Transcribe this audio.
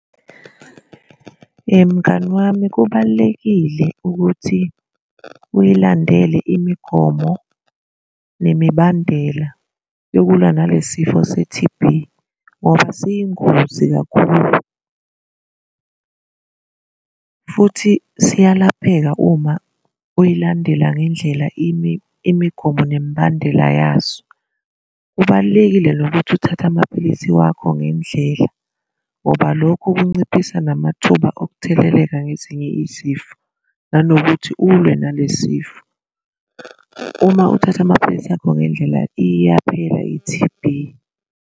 Mngani wami kubalulekile ukuthi uyilandele imigomo nemibandela yokulwa nale sifo se-T. B ngoba siyingozi kakhulu futhi siyalapheka uma uyilandela ngendlela imigomo nemibandela yaso. Kubalulekile nokuthi uthathe amaphilisi wakho ngendlela ngoba lokhu kunciphisa namathuba okutheleleka ngezinye izifo nanokuthi ulwe nalezifo. Uma uthatha amaphilisi akho ngendlela iyaphela i-T. B.